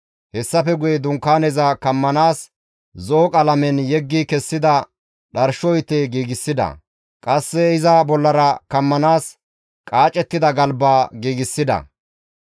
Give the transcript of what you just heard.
Hessafe guye Dunkaaneza kammanaas zo7o qalamen yeggi kessida dharsho ite giigsida; qasse iza bollara kammanaas qaacettida galba giigsida.